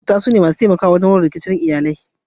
Maƙwabta sune masu taimakawa wajen warware matsaloli a cikin iyali.